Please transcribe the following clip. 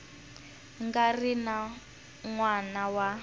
nga ri n wana wa